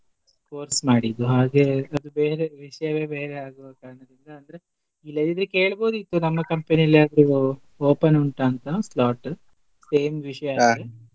Course ಮಾಡಿದ್ದೂ ಹಾಗೆ ಬೇರೆ ವಿಷ್ಯವೇ ಬೇರೆ ಆಗುವ ಕಾರಣದಿಂದ ಅಂದ್ರೆ ಇಲ್ಲದಿದ್ರೆ ಕೇಳ್ಬಹುದಿತ್ತು ನಮ್ಮ company ಅಲ್ ಯಾರ್ಗಾದ್ರೂ open ಉಂಟ ಅಂತ slot same .